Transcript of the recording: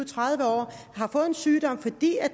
tredive år og har fået en sygdom fordi